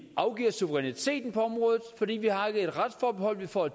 afgiver suveræniteten på området fordi vi har et retsforbehold vi får